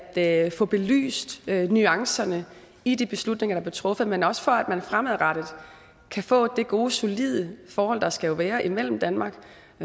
at få belyst nuancerne i de beslutninger der blev truffet men også for at man fremadrettet kan få det gode og solide forhold der skal være mellem danmark